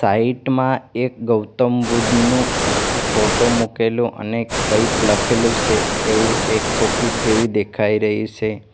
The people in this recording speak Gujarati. સાઈડ માં એક ગૌતમ બુદ્ધનો ફોટો મુકેલો અને કંઈક લખેલું છે એવું એક ઓફિસ જેવી દેખાઈ રહી છે.